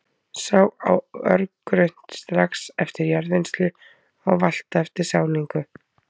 Sá á örgrunnt, strax eftir jarðvinnslu og valta eftir sáningu.